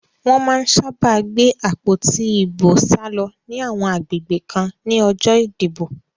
Wọ́n má ń sábà gbé àpótí ìbò sálọ ní àwọn agbègbè kan ní ọjọ́ ìdìbò